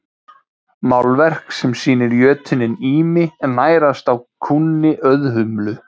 Málverk sem sýnir jötuninn Ými nærast á kúnni Auðhumlu.